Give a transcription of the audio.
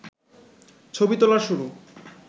ছবি তোলার শুরু